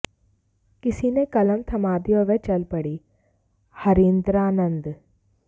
किसी ने कलम थमा दी और वह चल पड़ीः हरीन्द्रानन्द